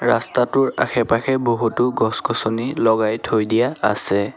ৰাস্তাটোৰ আশে-পাশে বহুতো গছ-গছনি লগাই থৈ দিয়া আছে।